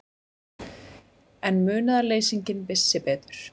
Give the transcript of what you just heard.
En munaðarleysinginn vissi betur.